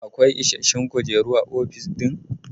Akwai ishashshun kujeru a ofis ɗin?